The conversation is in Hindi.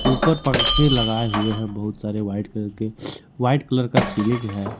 ऊपर पंखे लगाए हुए हैं बहुत सारे व्हाइट कलर के व्हाइट कलर का सीलिंग है।